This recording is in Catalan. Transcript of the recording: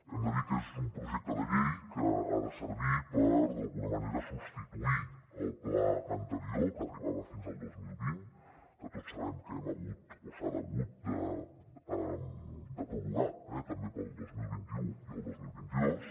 hem de dir que és un projecte de llei que ha de servir per d’alguna manera substituir el pla anterior que arribava fins al dos mil vint que tots sabem que hem hagut o s’ha hagut de prorrogar també per al dos mil vint u i el dos mil vint dos